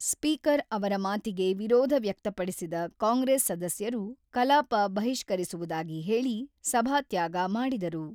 Speaker ಅವರ ಮಾತಿಗೆ ವಿರೋಧ ವ್ಯಕ್ತಪಡಿಸಿದ ಕಾಂಗ್ರೆಸ್ ಸದಸ್ಯರು ಕಲಾಪ ಬಹಿಷ್ಕರಿಸುವುದಾಗಿ ಹೇಳಿ, ಸಭಾತ್ಯಾಗ ಮಾಡಿದರು.